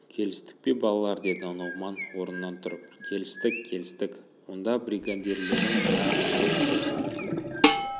келістік пе балалар деді нұғыман орнынан тұрып келістік келістік онда бригадирлерің мына әжібек болсын